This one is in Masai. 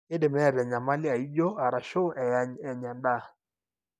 kidim neeta enyamali aijio arashu eany enya enda.